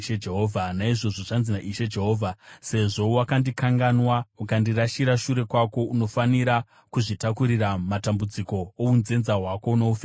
“Naizvozvo zvanzi naIshe Jehovha: Sezvo wakandikanganwa ukandirasira shure kwako, unofanira kuzvitakurira matambudziko ounzenza hwako noufeve hwako.”